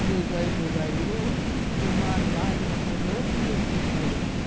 Os meus olhos se vaiou e uma lágrima rolou porque eu tinha esperança.